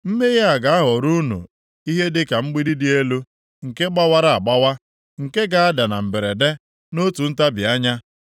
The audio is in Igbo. mmehie a ga-aghọrọ unu ihe dịka mgbidi dị elu, nke gbawara agbawa, nke ga-ada na mberede, nʼotu ntabi anya.